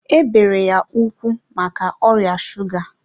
e bere ya ụkwụ maka ọrịa shuga